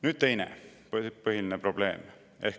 Nüüd teine põhiline probleem.